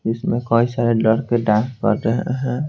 इसमें कई सारे लड़के डांस कर रहे हैं।